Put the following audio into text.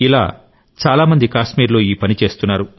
ఇలా చాలా మంది కాశ్మీర్లో ఈ పని చేస్తున్నారు